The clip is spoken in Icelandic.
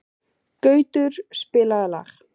Gautur, spilaðu lag.